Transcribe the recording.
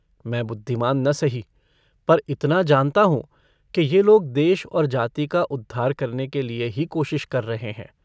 मैं बुद्धिमान् न सही पर इतना जानता हूँ कि ये लोग देश और जाति का उद्धार करने के लिए ही कोशिश कर रहे हैं।